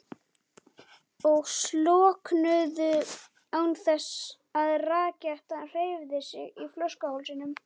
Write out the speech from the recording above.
og slokknuðu án þess að rakettan hreyfði sig í flöskuhálsinum.